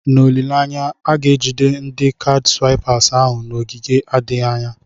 N'olileanya, a ga-ejide ndi kaadị swaịpas ahụ n'oge adịghị anya.